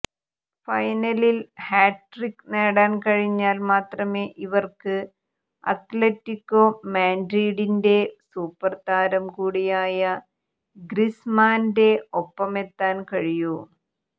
ഫൈനലിൽ ഹാട്രിക്ക് നേടാൻ കഴിഞ്ഞാൽ മാത്രമേ ഇവർക്ക് അത്ലറ്റികോ മാഡ്രിഡിന്റെ സൂപ്പർതാരം കൂടിയായ ഗ്രിസ്മാന്റെ ഒപ്പമെത്താൻ കഴിയൂ